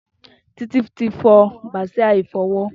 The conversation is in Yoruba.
Titi ti fọ bàsiá ifọwọ̀